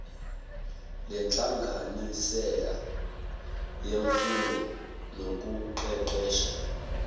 lenhlanganisela yemfundo nokuqeqesha